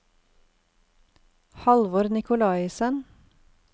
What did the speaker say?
Halvor Nicolaisen